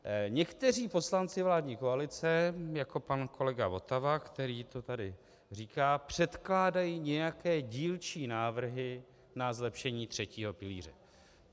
Někteří poslanci vládní koalice, jako pan kolega Votava, který to tady říká, předkládají nějaké dílčí návrhy na zlepšení třetího pilíře.